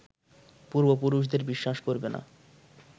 পূর্ব পুরুষদের বিশ্বাস করবে না